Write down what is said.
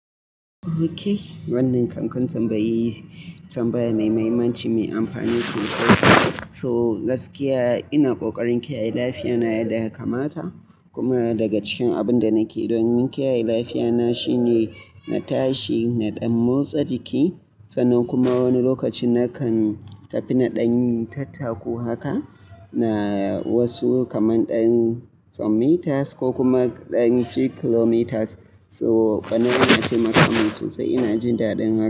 Okay, wannan kankarin tambayi tambaya mai mahimmanci mai amfani sosai. So gaskiya ina kokarin kiyaye lafiyata yadda ya kamata kuma daga cikin abinda nake domin kiyaye lafiyata shine na tashi na ɗauki motsa jiki sannan kuma wani lokaci nakan tafi naɗan tattaku haka na wasu kaman ɗan tsawon meters ko kuma ɗan few kilometers. So bana iya ce maka man sosai ina jin daɗin haka.